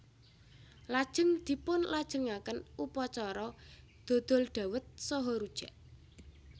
Lajeng dipunlajengaken upacara dodol dhawet saha rujak